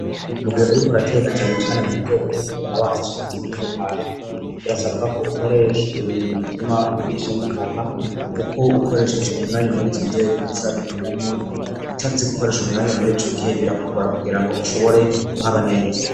Mugihe uriko rategacane icyane mu nzego zo kwigona bansishanizi'imitekano birasabwa ko ukoresha ibintu bituma bisha n'inkoga kuko ukoresheje umwanya muri izo nzego n'isaba bigenda neza utaze gukoresha umwanya muri ico gihe birakukora kugira ngo ushobore guhaba neza.